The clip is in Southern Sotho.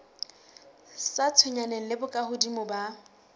sa tshwenyaneng le bokahodimo ba